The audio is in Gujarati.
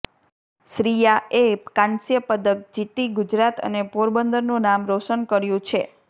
શ્રીયાએ કાંસ્ય પદક જીતી ગુજરાત અને પોરબંદરનું નામ રોશન કર્યું છે